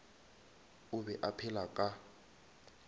o be a phela ka